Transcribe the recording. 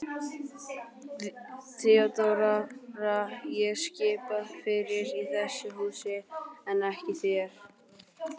THEODÓRA: Ég skipa fyrir í þessu húsi en ekki þér.